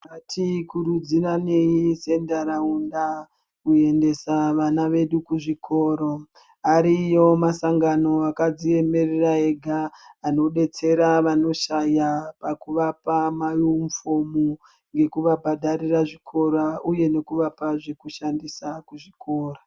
Ngatikurudziranei sendaraunda kuendesa vana vedu kuzvikoro ariyo masangano akadziemerera ega anodetsera vanoshaya pakuvapa maunifomu nekuvabhadharira zvikora uye nekuvape zvekushandisa kuzvikora.